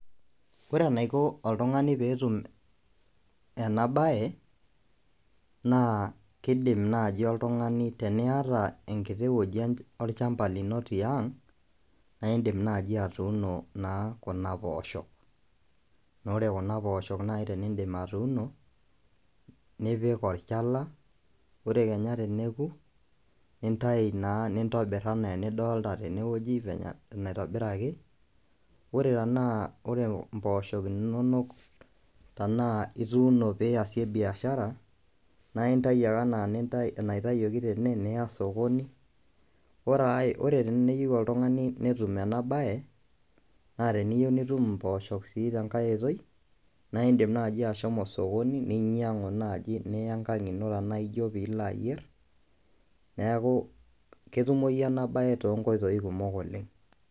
Ore enaiko oltung'ani pee etum ena baye naa kiidim naaji oltung'ani, teniata enkiti wueiji olchamba lino tiang' naa iindim naaji atuuno naa kuna poosho, naa ore kuna poosho naaji teniidip atuuno nipik olchala ore kenya teneoku nintayu naa nintobirr enaa enidolita tenewueji venye nitobiraki ore tenaa impoosho inonok tenaa ituuno niasie biashara naaa aintayu ake niya osokoni, teneyieu oltung'ani netum enabaye naa iindim naaji ashomo osokoni ninyiang'u naaji niya enkang' ino tenaa ijio piilo ayierr, neeku ketumoyu enabaye toonkoitoi kumok oleng'.